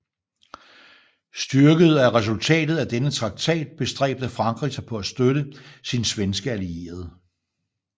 Styrket af resultatet af denne traktat bestræbte Frankrig sig på at støtte sin svenske allierede